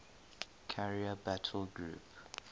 carrier battle group